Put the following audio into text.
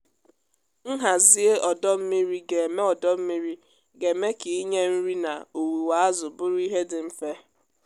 nhazie ọdọ mmiri ga-eme ọdọ mmiri ga-eme ka ịnye nri na owuwe azụ bụrụ ihe dị mfe.